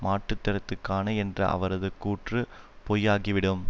மாற்றுத்திறத்துக்கான என்ற அவரது கூற்று பொய்யாகிவிடும்